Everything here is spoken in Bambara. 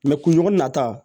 kun ɲɔgɔn nata